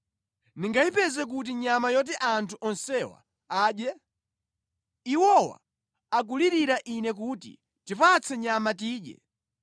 Ndingayipeze kuti nyama yoti anthu onsewa adye? Iwowa akulirira ine kuti, ‘Tipatse nyama tidye!’